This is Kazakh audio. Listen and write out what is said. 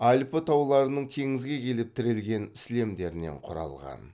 альпі тауларының теңізге келіп тірелген сілемдерінен құралған